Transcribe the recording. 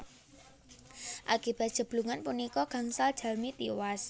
Akibat jeblugan punika gangsal jalmi tiwas